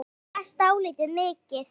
Ég las dálítið mikið.